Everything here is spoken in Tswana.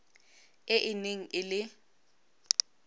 e e neng e le